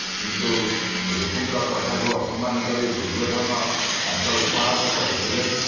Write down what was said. କିନ୍ତୁ ଋଷିଙ୍କ କଥାକୁ ଅପମାନ କରି ଦୂର୍ଯ୍ୟୋଧନ ତାଙ୍କର ଉପହାସ କରିଥିଲେ